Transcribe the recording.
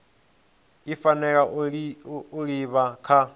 i fanela u livha kha